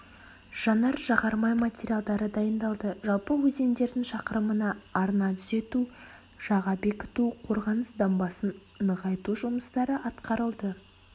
жанар-жағармай материалдары дайындалды жалпы өзендердің шақырымына арна түзету жаға бекіту қорғаныс дамбасын нығайту жұмыстары атқарылды